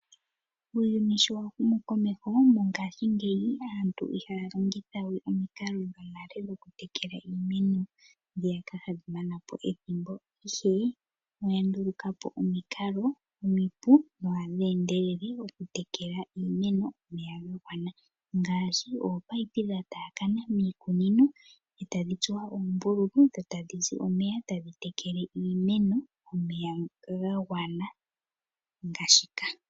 Uuyunu sho wa humu komeho mongashi ngeyi aantu ihaya longitha we omikalo dhonale dhokutekela iimeno ndhiyaka hadhi manapo ethimbo, ihe oyandulukapo omikalo omipu dho ohadhi endelele okutekela iimeno omeya ga gwana ngaashi ominino dha taakanamiikunino etadhi tsuwa oombululu dho tadhi piti omeya tadhi tekele iimeno omeya ga gwana ngashi ka.